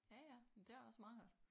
Ja ja men det er også meget godt